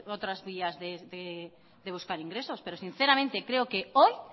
otras vías de buscar ingresos pero sinceramente creo que hoy